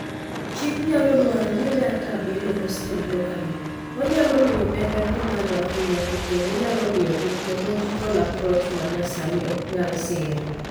Chik nyalo dwaro ni data bedo hosted locally ,manyalo miyo omenda dhii malo ahinya to kendo nyalo miyo technological approach manyasani oknyal sir.